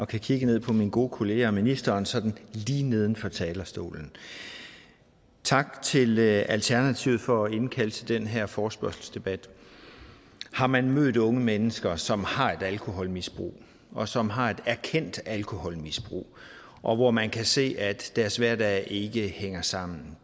kigge ned på mine gode kollegaer og ministeren sådan lige neden for talerstolen tak til alternativet for at indkalde til den her forespørgselsdebat har man mødt unge mennesker som har et alkoholmisbrug og som har et erkendt alkoholmisbrug og hvor man kan se at deres hverdag ikke hænger sammen